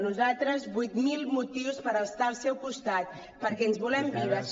nosaltres vuit mil motius per estar al seu costat perquè ens volem vives